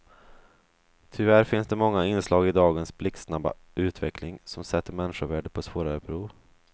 Tyvärr finns det många inslag i dagens blixtsnabba utveckling som sätter människovärdet på svårare prov.